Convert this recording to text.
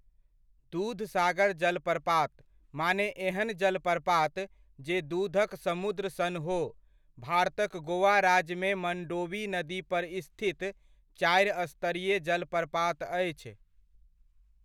दूधसागर जलप्रपात, माने एहन जलप्रपात, जे दूधक समुद्र सन हो, भारतक गोवा राज्यमे मण्डोवी नदी पर स्थित चारि स्तरीय जलप्रपात अछि।